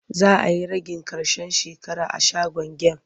Za a yi ragin ƙarshen shekara a shagon gem.